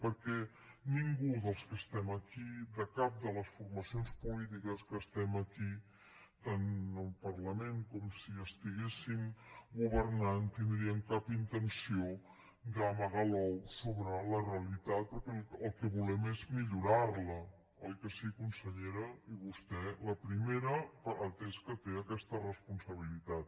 perquè ningú dels que estem aquí de cap de les formacions polítiques que estem aquí tant al parlament com si estiguéssim governant tindríem cap intenció d’amagar l’ou sobre la realitat perquè el que volem és millorar la oi que sí consellera i vostè la primera atès que té aquesta responsabilitat